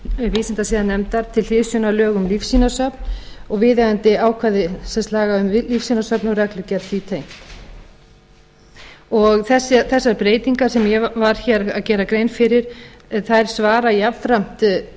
vísindasiðanefndar til hliðsjónar lög um lífsýnasöfn og viðeigandi ákvæði laga um lífsýnasöfn og reglugerð því tengt þessar breytingar sem ég var hér að gera grein fyrir þær svara